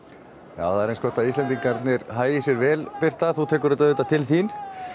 já það er eins gott að Íslendingarnir hagi sér vel birta þú tekur þetta auðvitað til þín